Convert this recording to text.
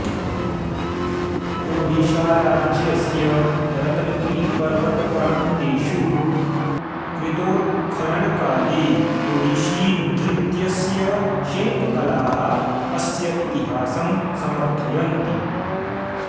ओडिशाराज्यस्य रत्नगिरिपर्वतप्रान्तेषु कृतोत्खननकाले ओडिशीनृत्यस्य शिल्पकालाः अस्य इतिहासं समर्थयन्ति